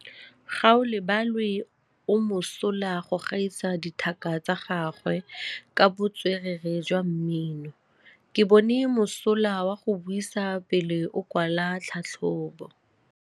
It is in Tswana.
Gaolebalwe o mosola go gaisa dithaka tsa gagwe ka botswerere jwa mmino. Ke bone mosola wa go buisa pele o kwala tlhatlhobô.